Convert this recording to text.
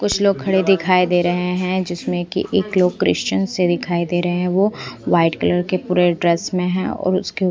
कुछ लोग खड़े दिखाई दे रहे हैं जिसमें कि एक लोग क्रिश्चियन से दिखाई दे रहे हैं वो वाइट कलर के पूरे ड्रेस में है और उसके--